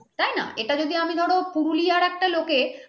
তাই না এটা যদি আমি ধরো পুরুলিয়ার একটা লোকের